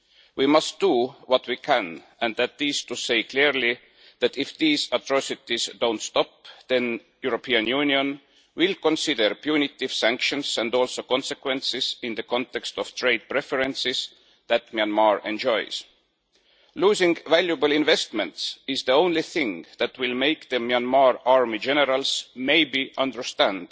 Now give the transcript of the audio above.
We must do what we can, and that is to say clearly that, if these atrocities do not stop, the European Union will consider punitive sanctions and also consequences in the context of trade preferences that Myanmar enjoys. Losing valuable investments is the only thing that will make the Myanmar army generals maybe understand